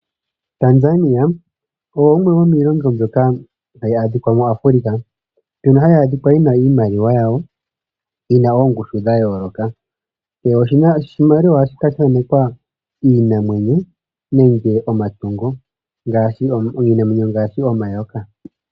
Tanzania osho shimwe shomiilonga mbyoka tayi adhika mu Africa, mbyono hayi adhika yina iimaliwa yawo yina oongushu dha yooloka. Kehe oshimaliwa ohashi kala sha thanekwa iinamwenyo nenge omatungo, iinamwenyo ongaashi omayoka.